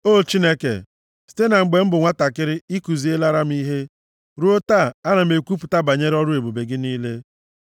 O Chineke, site na mgbe m bụ nwantakịrị, i kuzielera m ihe, ruo taa, ana m ekwupụta banyere ọrụ ebube gị niile.